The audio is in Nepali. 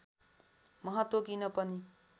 महत्त्व किन पनि